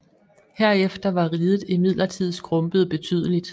Herefter var riget imidlertid skrumpet betydeligt